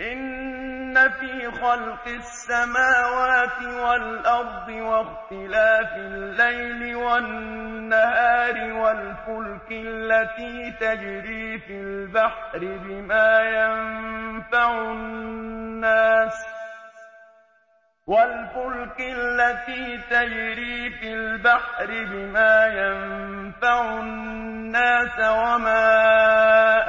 إِنَّ فِي خَلْقِ السَّمَاوَاتِ وَالْأَرْضِ وَاخْتِلَافِ اللَّيْلِ وَالنَّهَارِ وَالْفُلْكِ الَّتِي تَجْرِي فِي الْبَحْرِ بِمَا يَنفَعُ النَّاسَ وَمَا